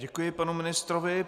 Děkuji panu ministrovi.